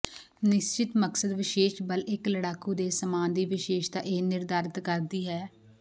ਨਿਸ਼ਚਿਤ ਮਕਸਦ ਵਿਸ਼ੇਸ਼ ਬਲ ਇੱਕ ਲੜਾਕੂ ਦੇ ਸਾਮਾਨ ਦੀ ਵਿਸ਼ੇਸ਼ਤਾ ਇਹ ਨਿਰਧਾਰਤ ਕਰਦੀ ਹੈ